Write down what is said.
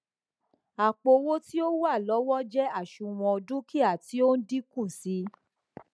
àpò owó tí ó wà lọwọ jé àṣùwòn dúkìá tí ó n dínkù sí i